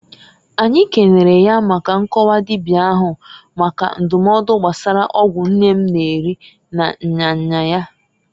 Anyi kenere ya maka nkọwa dibia ahu maka ndụmọdụ gbasara ọgwụ nne m na-eri na nya nya ya.